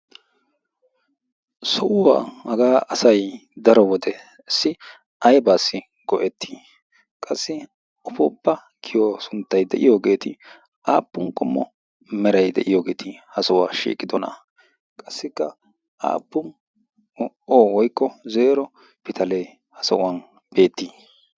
so'uwaa hagaa asai daro wode ssi aibaassi go'ettii qassi afoppa giyo sunttay de'iyoogeeti aappun gommo merai de'iyoogeeti ha sohuwaa shiiqidona qassikka aappun o woykko zeero pitalee ha so'uwan beettii?